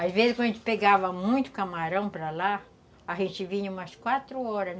Às vezes, quando a gente pegava muito camarão para lá, a gente vinha umas quatro horas.